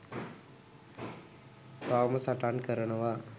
තවම සටන් කරනවා